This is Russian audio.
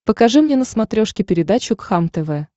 покажи мне на смотрешке передачу кхлм тв